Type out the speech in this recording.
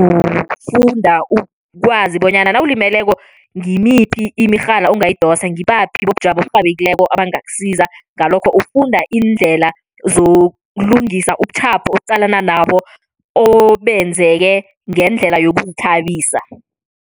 ufunda ukwazi bonyana nawulimileko ngimiphi imirhala ongayidosa ngibaphi bobujamo oburhabekileko abangakusiza. Ngalokho ufunda iindlela zokulungisa ubutjhapho oqalana nabo obenzeke ngendlela yokuzithabisa.